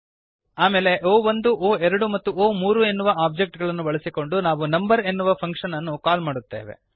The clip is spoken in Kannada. ಆಮೇಲೆ ಒ1 ಒ2 ಮತ್ತು ಒ3 ಎನ್ನುವ ಒಬ್ಜೆಕ್ಟ್ ಗಳನ್ನು ಬಳಸಿಕೊಂಡು ನಾವು ನಂಬರ್ ಎನ್ನುವ ಫಂಕ್ಶನ್ ಅನ್ನು ಕಾಲ್ ಮಾಡುತ್ತೇವೆ